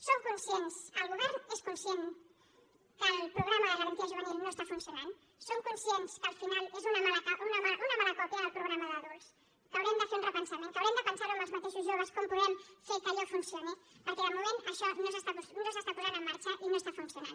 som conscients el govern és conscient que el programa de garantia juvenil no està funcionant som conscients que al final és una mala còpia del programa d’adults que haurem de fer un repensament que haurem de pensar ho amb els mateixos joves com podem fer que allò funcioni perquè de moment això no s’està posant en marxa i no està funcionant